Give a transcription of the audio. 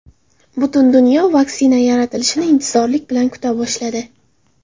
Butun dunyo vaksina yaratilishini intizorlik bilan kuta boshladi.